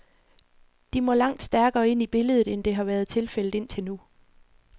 De må langt stærkere ind i billedet, end det har været tilfældet indtil nu.